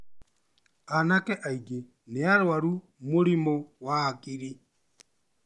Anake aingĩ nĩ arwaru mũrimo wa hakili